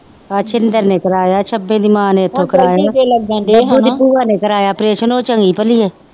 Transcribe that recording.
ਸ਼ਿੰਦਰ ਨੇ ਕਰਾਇਆ ਛਬੇ ਦੀ ਮਾਂ ਨੇ ਇੱਥੋਂ ਕਰਾਇਆ ਬੱਬੂ ਦੀ ਭੂਆ ਨੇ ਕਰਾਇਆ ਅਪਰੇਸ਼ਨ ਉਹ ਚੰਗੀ ਪਲੀ ਆ